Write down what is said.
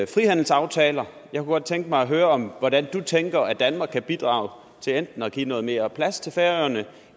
frihandelsaftaler og jeg kunne godt tænke mig at høre om hvordan du tænker danmark kan bidrage til enten at give noget mere plads til færøerne